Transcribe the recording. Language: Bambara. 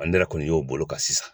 n yɛrɛ kɔni y'o bolo kan sisan